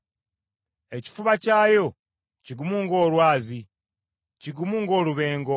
Ekifuba kyayo kigumu ng’olwazi, kigumu ng’olubengo.